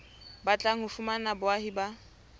batlang ho fumana boahi ba